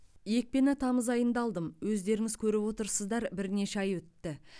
екпені тамыз айында алдым өздеріңіз көріп отырсыздар бірнеше ай өтті